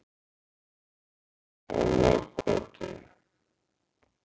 Móakoti